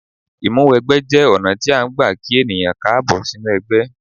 Ìmúwẹgbẹ́ jẹ́ ọ̀nà tí a ń gbà kí ènìyàn káàbọ̀ sínú ẹgbẹ́.